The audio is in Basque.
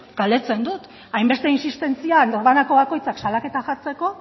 galdetzen dut hainbeste insistentzia norbanako bakoitzak salaketa jartzeko